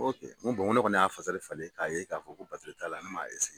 ne kɔni y'a falen k'a ye k'a fɔ ko batiri t'a la ne m'a